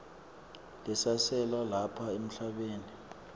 lesasele lapha emhlabeni